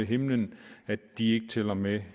himlen at de ikke tæller med